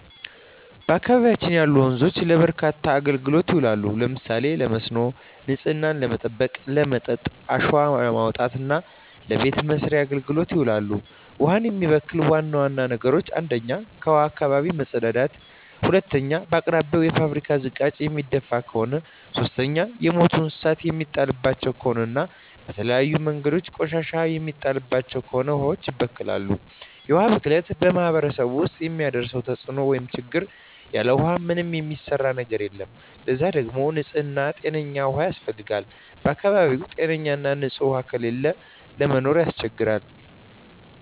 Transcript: በአካባቢያችን ያሉ ወንዞች ለበርካታ አገልግሎቶች ይውላሉ። ለምሳሌ ለመስኖ፣ ንጽህናን ለመጠበቅ፣ ለመጠጥ፣ አሸዋ ለማውጣት እና ለበቤት መሥርያ አገልግሎት ይውላሉ። ውሀን የሚበክሉ ዋና ዋና ነገሮች 1ኛ ከውሀዋች አካባቢ መጸዳዳት መጸዳዳት 2ኛ በአቅራቢያው የፋብሪካ ዝቃጭ የሚደፍ ከሆነ ከሆነ 3ኛ የሞቱ እንስሳት የሚጣልባቸው ከሆነ እና በተለያዩ መንገዶች ቆሻሻ የሚጣልባቸው ከሆነ ውሀዋች ይበከላሉ። የውሀ ብክለት በማህረሰቡ ውስጥ የሚያደርሰው ተጽዕኖ (ችግር) ያለ ውሃ ምንም የሚሰራ ነገር የለም ለዛ ደግሞ ንጽህና ጤነኛ ውሃ ያስፈልጋል በአካባቢው ጤነኛ ና ንጽህ ውሃ ከሌለ ለመኖር ያስቸግራል።